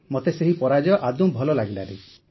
ମୋତେ ସେହି ପରାଜୟ ଆଦୌ ଭଲ ଲାଗିଲାନି